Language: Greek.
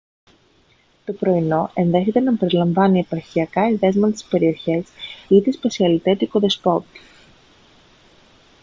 το πρωινό ενδέχεται να περιλαμβάνει εποχιακά εδέσματα της περιοχής ή τη σπεσιαλιτέ του οικοδεσπότη